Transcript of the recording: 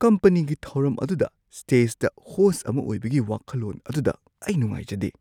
ꯀꯝꯄꯅꯤꯒꯤ ꯊꯧꯔꯝ ꯑꯗꯨꯗ ꯁ꯭ꯇꯦꯖꯇ ꯍꯣꯁꯠ ꯑꯃ ꯑꯣꯏꯕꯒꯤ ꯋꯥꯈꯜꯂꯣꯟ ꯑꯗꯨꯗ ꯑꯩ ꯅꯨꯡꯉꯥꯏꯖꯗꯦ꯫